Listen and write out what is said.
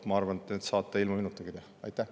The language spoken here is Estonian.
Ma arvan, et need saate ilma minutagi teha.